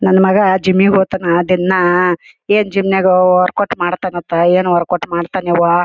ನನ್ ಮಗ ಜಿಮ್ಗೆ ಹೋಗ್ತಾನೆ ದಿನ ಏನ್ ಜಿಮ್ನಾಗ ವರ್ಕೌಟ್ ಮಾಡತನಪ್ಪ ಏನ್ ವರ್ಕೌಟ್ ಮಾಡಿತಂ ಎವ್ವ .